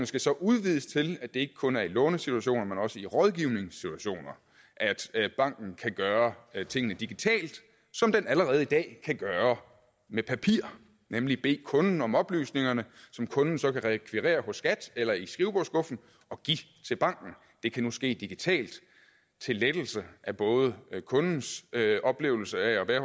skal så udvides til at det kun er i lånesituationer men også i rådgivningssituationer at banken kan gøre tingene digitalt som den allerede i dag kan gøre med papir nemlig bede kunden om oplysningerne som kunden så kan rekvirere hos skat eller i skrivebordsskuffen og give til banken det kan nu ske digitalt til lettelse af både kundens oplevelse af at være